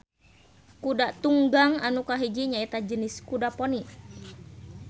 Kuda tunggang anu kahiji nyaeta jenis kuda poni.